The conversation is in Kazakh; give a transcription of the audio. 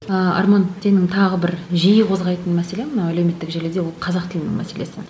ааа арман сенің тағы бір жиі қозғайтын мәселең мына әлеуметтік желіде ол қазақ тілінің мәселесі